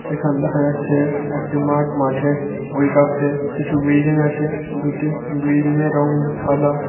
এখান দেখা যাচ্ছে-এ একটি মাঠ মাঠের ওই পাশে কিছু বিল্ডিং আছে দুটি বিল্ডিংয়ের -এর রং সাদা।